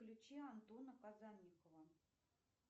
включи антона казанникова